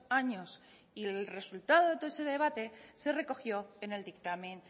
años y el resultado de todo ese debate se recogió en el dictamen